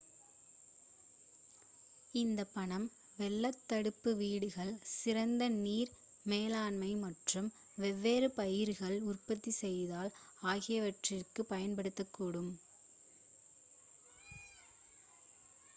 இந்த பணம் வெள்ளத் தடுப்பு வீடுகள் சிறந்த நீர் மேலாண்மை மற்றும் வெவ்வேறு பயிர்கள் உற்பத்தி செய்தல் ஆகியவற்றிற்கு பயன்படுத்தக்கூடும்